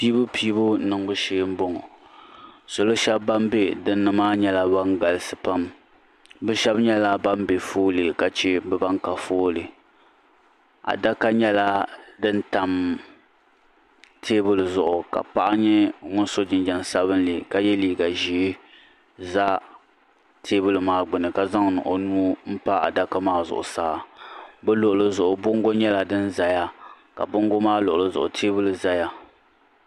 Piibupiibu niŋbu shee mbɔŋɔ salo shɛba bini bɛ dini maa nyɛla bini galisi pam bi shɛba nyɛla bini bɛ foolee ka bi bini ka foolee adaka nyɛla dini tam tɛɛbuli zuɣu ka paɣa nyɛ ŋuni so jinjam sabinli ka ye liiga zɛɛ za tɛɛbuli maa gbuni ka zaŋdi o nuu pa adaka maa zuɣu saa bi luɣili zuɣu bongo nyɛla dini zaya ka bongo maa luɣili zuɣu tɛɛbuli zaya.